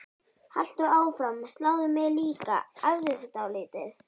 Haltu áfram, sláðu mig líka, æfðu þig dálítið.